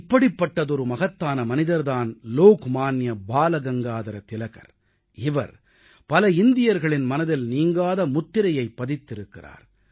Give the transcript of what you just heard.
இப்படிப்பட்ட மகத்தான மனிதர் தான் லோக்மான்ய திலகர் இவர் பல இந்தியர்களின் மனதில் நீங்காத முத்திரையைப் பதித்திருக்கிறார்